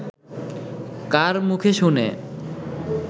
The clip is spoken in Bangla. কার মুখে শুনে